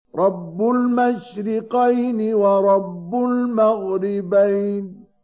رَبُّ الْمَشْرِقَيْنِ وَرَبُّ الْمَغْرِبَيْنِ